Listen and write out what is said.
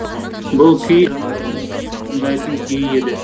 бұл күй жанаттың сүйіп тыңдайтын күйі еді